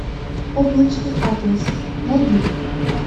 облачный атлас найди